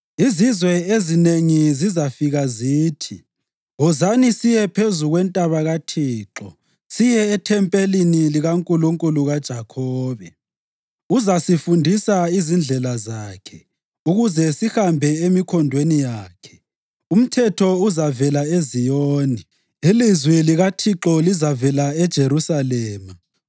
Izizwe ezinengi zizafika zithi, “Wozani siye phezu kwentaba kaThixo, siye ethempelini likaNkulunkulu kaJakhobe. Uzasifundisa izindlela zakhe, ukuze sihambe emikhondweni yakhe.” Umthetho uzavela eZiyoni, ilizwi likaThixo livele eJerusalema.